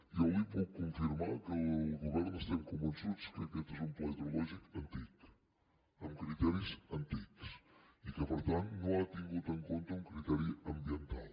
jo li puc confirmar que el govern estem convençuts que aquest és un pla ideològic antic amb criteris antics i que per tant no ha tingut en compte un criteri ambiental